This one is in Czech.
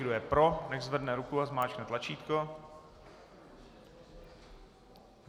Kdo je pro, nechť zvedne ruku a zmáčkne tlačítko.